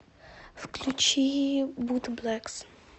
включи бутблэкс